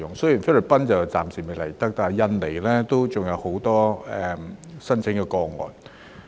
雖然菲律賓外傭暫時未能來港，但印尼也有很多申請個案。